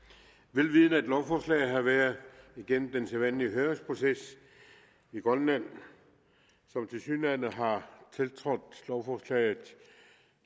vel vidende at lovforslaget har været igennem den sædvanlige høringsproces i grønland som tilsyneladende har tiltrådt lovforslaget